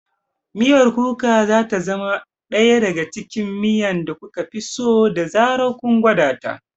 Miyar Kuka za ta zama ɗaya daga cikin miya da kuka fi so da zarar kun gwada ta.